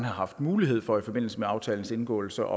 haft mulighed for i forbindelse med aftalens indgåelse